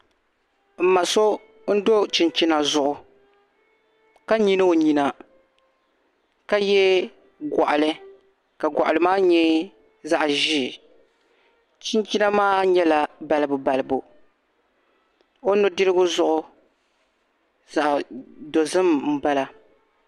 m ma so n do chinchina zuɣu ka nyili o nyina ka ye gɔɣili ka gɔɣili maa nyɛ zaɣ' ʒee chinchina maa nyɛla balibubalibu o nudirigu zuɣu zaɣ' dozim m-bala